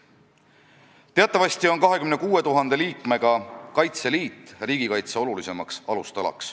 Teatavasti on 26 000 liikmega Kaitseliit riigikaitse olulisim alustala.